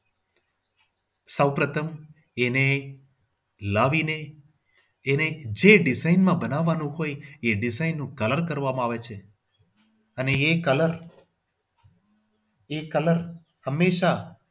સૌપ્રથમ એને લાવીને એને જે design માં બનાવવા લોકો કહે છે એ design માં colour કરવામાં આવે છે અને એ colour એ colour હમેશા